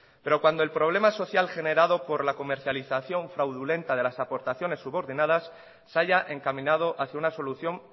pero cuando el problema es social generado por la comercialización fraudulenta de las aportaciones subordinadas se haya encaminado hacia una solución